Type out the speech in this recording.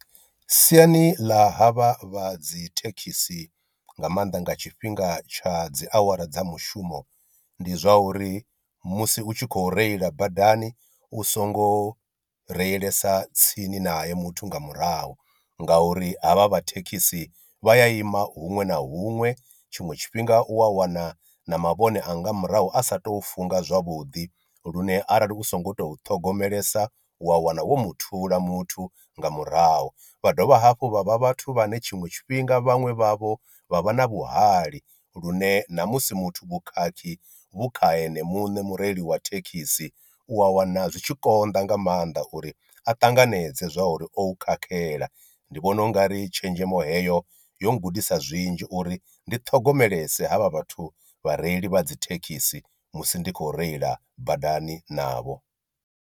Siani ḽa ha vha vha dzi thekhisi nga maanḓa nga tshifhinga tsha dzi awara dza mushumo, ndi zwa uri musi u tshi khou reila badani u songo reilesa tsini nae muthu nga murahu nga uri havha vha thekhisi vha ya ima huṅwe na huṅwe tshiṅwe tshifhinga u wa wana na mavhone a nga murahu a sa to funga zwavhuḓi, lune arali u so ngo tou ṱhogomelesa u wa wana wo muthula muthu nga murahu. Vha dovha hafhu vha vha vhathu vhane tshiṅwe tshifhinga vhaṅwe vha vho vha vha na vhuhali lune na musi muthu vhukhakhi vhu kha eṋe muṋe mureili wa thekhisi u wa wana zwi tshi konḓa nga maanḓa uri a ṱanganedze zwa uri o khakhela, ndi vhona u ngari tshenzhemo heyo yo gudisa zwinzhi uri ndi ṱhogomelesa havha vhathu vhareili vha dzi thekhisi musi ndi khou reila badani navho.